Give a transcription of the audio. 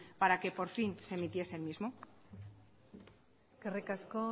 para que por fin se emitiese el mismo eskerrik asko